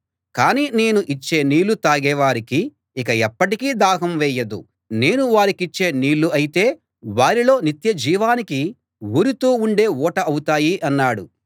కానీ నేను ఇచ్చే నీళ్ళు తాగే వారికి ఇక ఎప్పటికీ దాహం వేయదు నేను వారికిచ్చే నీళ్ళు అయితే వారిలో నిత్య జీవానికి ఊరుతూ ఉండే ఊట అవుతాయి అన్నాడు